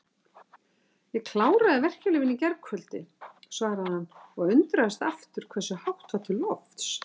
Ég kláraði verkjalyfin í gærkvöldi, svaraði hann og undraðist aftur hversu hátt var til lofts.